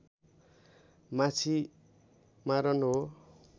माछी मारन हो